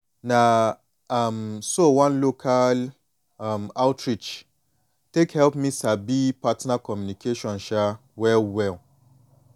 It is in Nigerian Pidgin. na um so one local um outreach take help me sabi partner communication um well well